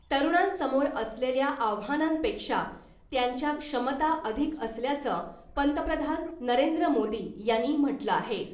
तरुणांसमोर असलेल्या आव्हानांपेक्षा त्यांच्या क्षमता अधिक असल्याचं , पंतप्रधान नरेंद्र मोदी यांनी म्हटलं आहे .